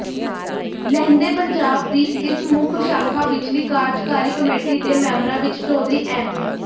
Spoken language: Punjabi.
ਲਹਿੰਦੇ ਪੰਜਾਬ ਦੀ ਇਸ ਮੁੱਖ ਸ਼ਾਖਾ ਵਿਚਲੀ ਕਾਰਜਕਾਰੀ ਕਮੇਟੀ ਦੇ ਮੈਬਰਾਂ ਵਿਚ ਚੌਧਰੀ ਐਮ